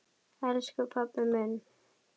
Elsku pabbi minn.